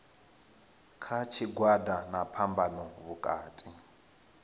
kha tshigwada na phambano vhukati